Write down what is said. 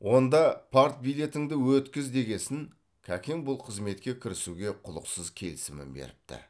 онда партбилетіңді өткіз дегесін кәкең бұл қызметке кірісуге құлықсыз келісімін беріпті